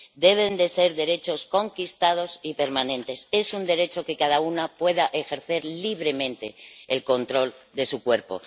Deben ser derechos conquistados y permanentes. Es un derecho que cada una pueda ejercer libremente el control de su cuerpo.